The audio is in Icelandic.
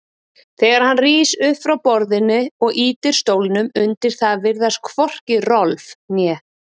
Þegar hann rís upp frá borðinu og ýtir stólnum undir það virðast hvorki Rolf né